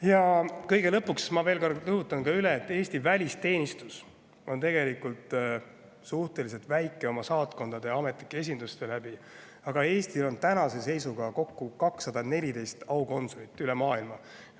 Ja kõige lõpuks ma rõhutan üle, et Eesti välisteenistus on tegelikult suhteliselt väike oma saatkondade ja ametlike esindustega, aga Eestil on tänase seisuga kokku 214 aukonsulit üle maailma.